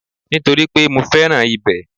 Nítorípé mo fẹ́ràn ibẹ̀